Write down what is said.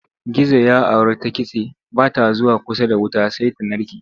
Gizo ya auri ta kitse ba ta zuwa kusa da wuta sai ta narke.